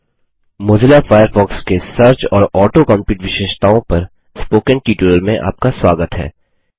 Mozilla Firefox Mozilla Firefox के search और auto complete विशेषताओं पर स्पोकन ट्यूटोरियल में आपका स्वागत है